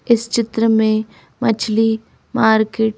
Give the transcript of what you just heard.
इस चित्र में मछली मार्केट।